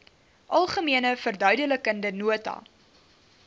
algemene verduidelikende nota